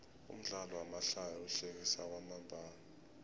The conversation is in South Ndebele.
umdlalo wamahlaya uhlekisa kwamambala